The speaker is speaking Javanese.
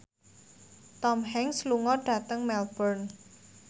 Tom Hanks lunga dhateng Melbourne